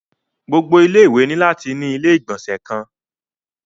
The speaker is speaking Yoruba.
Gbogbo ilé ìwé ni lati ni ilé igbọnsẹ kan.